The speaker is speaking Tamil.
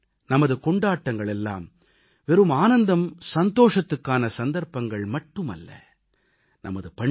நமது பண்டிகைகள் நமது கொண்டாட்டங்கள் எல்லாம் வெறும் ஆனந்தம் சந்தோஷத்துக்கான சந்தர்ப்பங்கள் மட்டுமல்ல